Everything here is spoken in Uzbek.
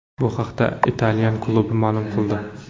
Bu haqda italyan klubi ma’lum qildi .